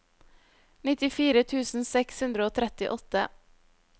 nittifire tusen seks hundre og trettiåtte